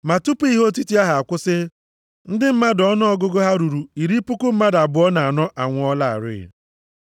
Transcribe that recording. Ma tupu ihe otiti ahụ akwụsị, ndị mmadụ ọnụọgụgụ ha ruru iri puku abụọ na anọ (24,000) anwụọlarị.